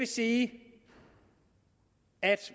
sige at